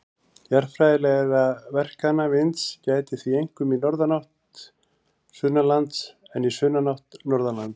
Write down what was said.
Jarðfræðilegra verkana vinds gætir því einkum í norðanátt sunnanlands en í sunnanátt norðanlands.